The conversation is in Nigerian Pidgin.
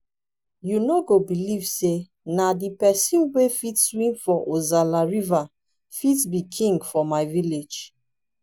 you no go believe say na the person wey fit swim for ozalla river fit be king for my village